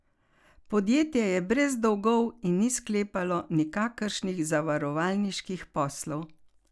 Podjetje je brez dolgov in ni sklepalo nikakršnih zavarovalniških poslov.